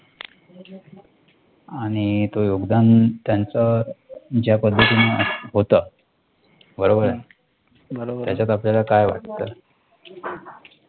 आणि योगदान त्यांच ज्या पद्धतीने होतं, बरोबर आहे? त्याच्यात आपल्याला काय वाटतं?